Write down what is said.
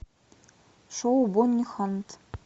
шоу бонни хант